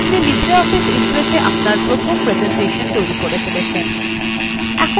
আপনি libreoffice impressএ আপনার প্রথম প্রেসেন্টেশন তৈরী করে ফেলেছেন